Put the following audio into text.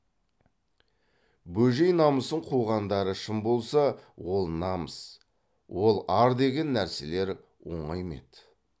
бөжей намысын қуғандары шын болса ол намыс ол ар деген нәрселер оңай ма еді